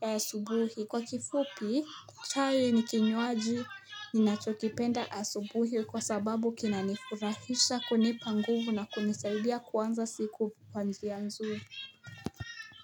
ya subuhi. Kwa kifupi, chai nikinywaji ninachokipenda asubuhi kwa sababu kinanifurahisha kunipa nguvu na kunisaidia kuanza siku kwa njia nzuri.